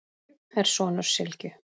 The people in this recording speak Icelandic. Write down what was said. Ég er sonur Sylgju